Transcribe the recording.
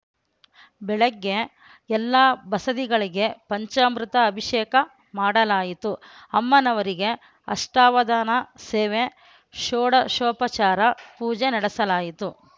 ಬೆಳ್ಳೆಗೆ ಎಲ್ಲಾ ಬಸದಿಗಳಿಗೆ ಪಂಚಾಮೃತ ಅಭಿಷೇಕ ಮಾಡಲಾಯಿತು ಅಮ್ಮನವರಿಗೆ ಅಷ್ಟವಧಾನ ಸೇವೆ ಶೋಡಷೋಪಚಾರ ಪೂಜೆ ನಡೆಸಲಾಯಿತು